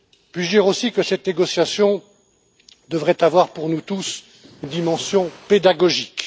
Puis je dire aussi que cette négociation devrait avoir pour nous tous une dimension pédagogique?